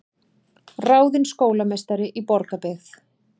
Ráðin skólameistari í Borgarbyggð